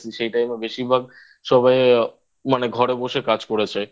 সেই Time এ বেশিরভাগ সবাই মানে ঘরে বসে কাজ করেছে